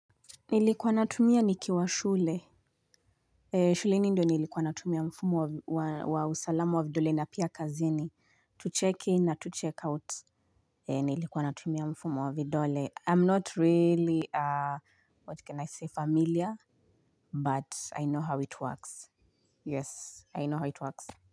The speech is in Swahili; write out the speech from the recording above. Nilikuwa natumia nikiwa shule, shuleni ndio nilikuwa natumia mfumo wa usalama wa vidole na pia kazini, to check in na to check out, nilikuwa natumia mfumo wa vidole, I'm not really, what can I say, familiar, but I know how it works, yes, I know how it works.